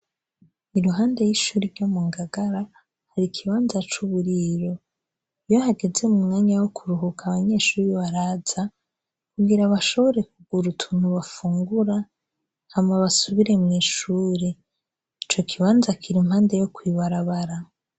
Iruhande y'ishuri ryo mungagara hari ikibanza c'uburiro. Iyo hageze m'umwanya wokuruhuka abanyeshuri baraza kugira bashobore kugura utunt bafungura hama basubire mw'ishuri. Icokibanza kir'impande yo kw'ibarabara.